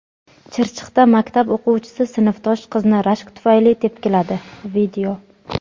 Chirchiqda maktab o‘quvchisi sinfdosh qizni rashk tufayli tepkiladi.